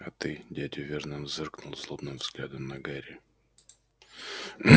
а ты дядя вернон зыркнул злобным взглядом на гарри